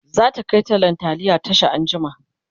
zata Kai tallan taliya Tasha anjima